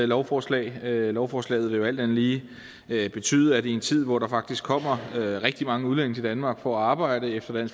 lovforslag lovforslaget vil jo alt andet lige betyde at i en tid hvor der faktisk kommer rigtig mange udlændinge til danmark for at arbejde efter